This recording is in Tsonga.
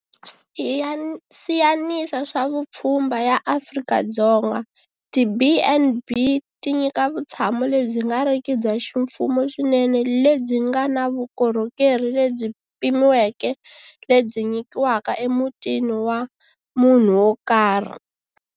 Siyanisa swa Vupfhumba ya Afrika-Dzonga, tiB and B ti nyika vutshamo lebyi nga riki bya ximfumo swinene lebyi nga na vukorhokeri lebyi pimiweke lebyi nyikiwaka emutini wa munhu wo karhi.